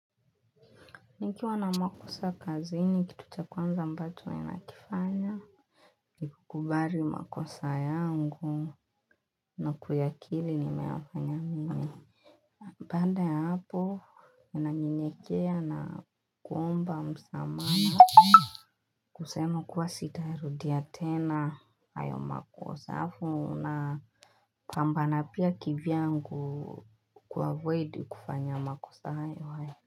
Nikiwa na makosa kazini kitu cha kwanza ambacho nakifanya. Kukubari makosa yangu na kuyakili nimeyafanya mimi. Baanda ya hapo, nanyenyekea naomba msamaha. Kusema kuwa sitayarudia tena hayo makosa. Afu unaa pambana pia kivyangu kuavoid kufanya makosa hayo hayo.